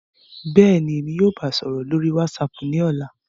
Bẹ́ẹ̀ni, Emi yóò baa sọrọ lori WhatsApp ni ọla.